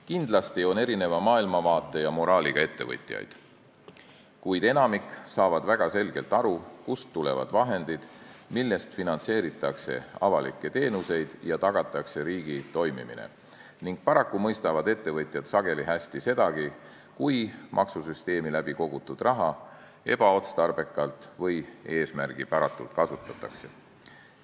Kindlasti on erineva maailmavaate ja moraaliga ettevõtjaid, kuid enamik saab väga selgelt aru, kust tulevad vahendid, millest finantseeritakse avalikke teenuseid ja tagatakse riigi toimimine, ning paraku mõistavad ettevõtjad sageli hästi sedagi, kui maksusüsteemi kaudu kogutud raha ebaotstarbekalt või eesmärgipäratult kasutatakse.